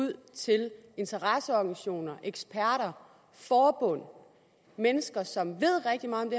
ud til interesseorganisationer eksperter forbund mennesker som ved rigtig meget